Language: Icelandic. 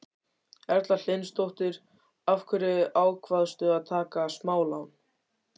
Erla Hlynsdóttir: Af hverju ákvaðstu að taka smálán?